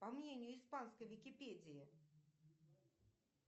по мнению испанской википедии